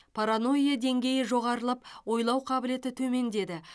паранойя деңгейі жоғарылап ойлау қабілеті төмендеді